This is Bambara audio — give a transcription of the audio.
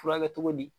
Furakɛ cogo di